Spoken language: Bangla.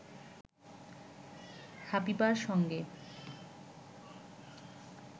হাবিবার সঙ্গে